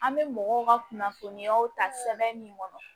An bɛ mɔgɔw ka kunnafoniyaw ta sɛbɛn min kɔnɔ